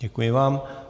Děkuji vám.